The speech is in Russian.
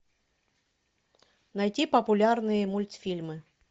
найти популярные мультфильмы